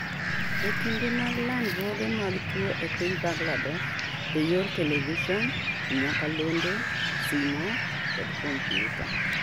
Ekinde mag landruoge mag tuo e piny Bangladesh eyor television, nyakalondo, simo kod computer